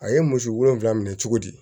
A ye muso wolonwula minɛ cogo di